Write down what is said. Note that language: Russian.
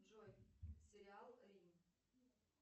джой сериал рим